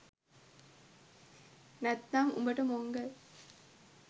නැත්නම් උඹට මොංගල්